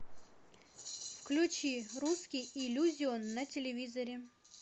включи русский иллюзион на телевизоре